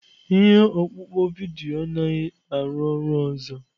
Ihe ọkpụkpọ vidiyo anaghị arụ ọrụ ọzọ.